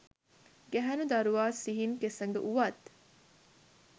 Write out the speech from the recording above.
ගැහැණු දරුවා සිහින් කෙසඟ වුවත්